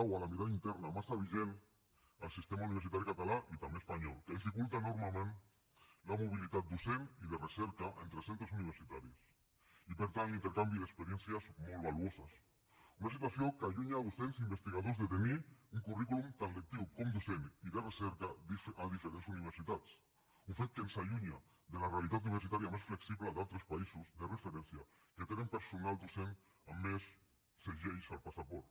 o a la mirada interna massa vigent al sistema universitari català i també espanyol que dificulta enormement la mobilitat docent i de recerca entre centres universitaris i per tant l’intercanvi d’experiències molt valuoses una situació que allunya docents i investigadors de tenir un currículum tant lectiu com docent i de recerca a diferents universitats un fet que ens allunya de la realitat universitària més flexible d’altres països de referència que tenen personal docent amb més segells al passaport